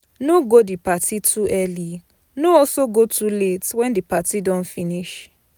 No go di parti too early no also go too late when the parti don de finish